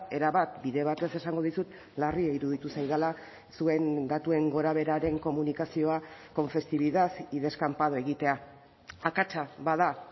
erabat bide batez esango dizut larria iruditu zaidala zuen datuen gorabeheraren komunikazioa con festividad y descampado egitea akatsa bada